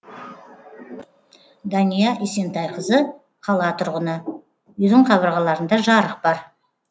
дания есентайқызы қала тұрғыны үйдің қабырғаларында жарық бар